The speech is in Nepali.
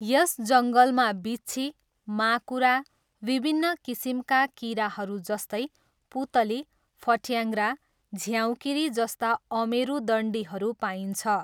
यस जङ्गलमा बिच्छी, माकुरा, विभिन्न किसिमका किराहरू जस्तै पुतली, फट्याङ्ग्रा, झ्याउँकिरी जस्ता अमेरुदण्डीहरू पाइन्छ।